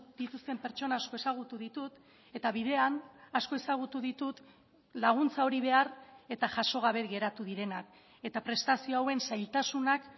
dituzten pertsona asko ezagutu ditut eta bidean asko ezagutu ditut laguntza hori behar eta jaso gabe geratu direnak eta prestazio hauen zailtasunak